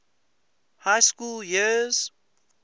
high school years